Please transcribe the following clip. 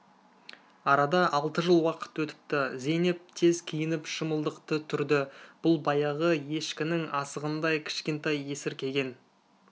арада алты жыл уақыт өтіпті зейнеп тез киініп шымылдықты түрді бұл баяғы ешкінің асығындай кішкентай есіркеген